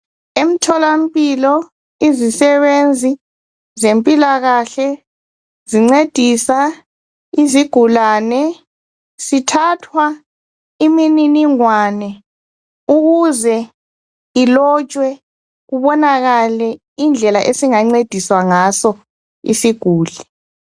Emtholampilo izisebenzi zempilakahle zincedisa izigulane sithathwa imininingwane . Ukuze ilotshwe kubonakale indlela esingancediswa ngaso isiguli.